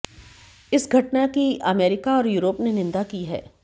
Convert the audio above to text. इस घटना की अमेरिका और यूरोप ने निंदा की है